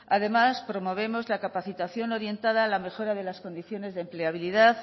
además promovemos la capacitación orientada a la mejora de las condiciones de empleabilidad